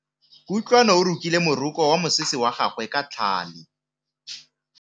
Kutlwanô o rokile morokô wa mosese wa gagwe ka tlhale.